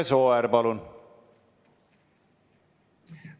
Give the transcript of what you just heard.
Imre Sooäär, palun!